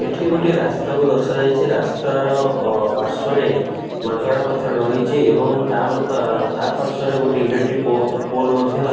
ଏଟି ଗୋଟେ ରାସ୍ତା କୁ ଦର୍ଶ୍ୟ ଯାଇଛି ରାସ୍ତା ର ପାଶ୍ୱର୍ରେ ମାଙ୍କଡ ପଥର ରହିଛି ଏବଂ ତା ପାଶ୍ୱର୍ରେ ରେ ଇଲେକ୍ଟି ପୋଲ ମଧ୍ୟ।